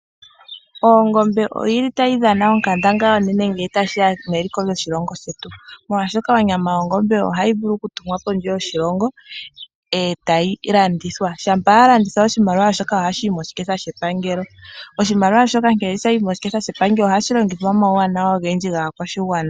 Ongombe otayi dhana onkandangala ngele tashi ya meliko lyoshilongo shetu, molwashoka onyama yongombe ohayi vulu okutumwa kondje yoshilongo, e tayi landithwa. Shampa ya landithwa oshimaliwa shoka ohashi yi moshiketha shepangelo. Oshimaliwa shoka shampa sha yi moshiketha shepangelo ohashi longithwa omauwanawa ogendji gaakwashigwana.